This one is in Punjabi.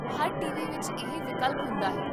ਹਰ ਟੀਵੀ ਵਿੱਚ ਇਹ ਵਿਕਲਪ ਹੁੰਦਾ ਹੈ